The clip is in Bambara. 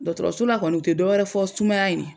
Dɔgɔtɔrɔso la kɔni u tɛ dɔ wɛrɛ fɔ sumaya ye ni ye.